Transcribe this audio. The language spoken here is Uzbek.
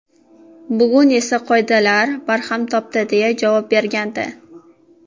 Bugun esa bu qoidalar barham topdi”, deya javob bergandi.